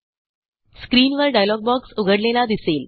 स्क्रीनवर डायलॉगबॉक्स उघडलेला दिसेल